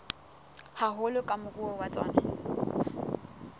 haholo ke moruo wa tsona